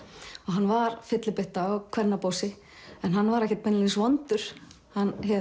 hann var fyllibytta og kvennabósi en hann var ekkert beinlínis vondur hann